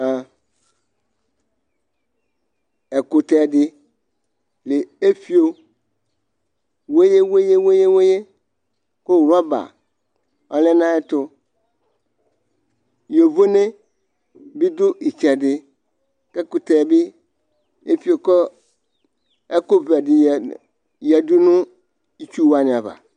ɛkʋtɛ di lɛ ifio weye weye weye weye ku rɔba ɔlɛ nu ayitu yovo nɛ bi du itsɛdi kʋ ɛkʋtɛ bi efio kɔ kʋ ɛkʋ vɛ ɛdiyɛdu nu itsuwani aɣa